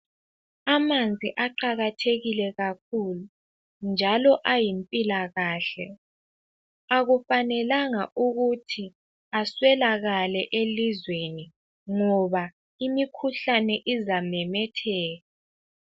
Amanzi aqakathekile kakhulu njalo ayimpilakahle. Akufanelanga ukuthi aswelakale elizweni ngoba imikhuhlane izamemetheka.